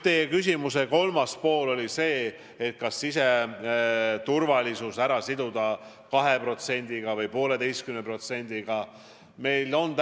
Teie küsimuse kolmas osa oli see, kas siseturvalisus siduda 2%-ga või 1,5%-ga eelarvest.